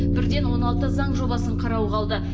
бірден он алты заң жобасын қарауға алды